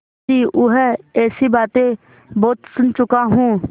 मुंशीऊँह ऐसी बातें बहुत सुन चुका हूँ